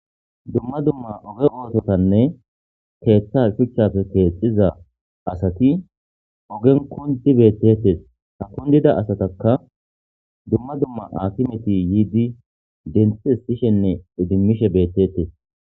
dumma dumma oge oototanne keeththa shuchchafe keexxiza asati ogen kundi beettetes ha kundida asataka dumma dumma akimeti yiidi denthis sishenne idimmishe beettetes